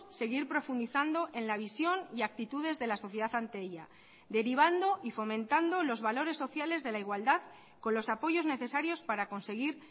seguir profundizando en la visión y actitudes de la sociedad ante ella derivando y fomentando los valores sociales de la igualdad con los apoyos necesarios para conseguir